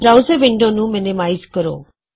browser window ਨੂੰ minimize ਕਰੋ